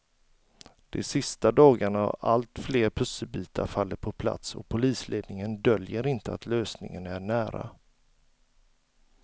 De sista dagarna har allt fler pusselbitar fallit på plats och polisledningen döljer inte att lösningen är nära.